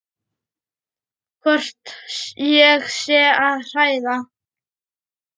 Hvort ég sé að hræða.